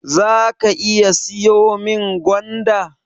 Zaka iya siyo min gwanda?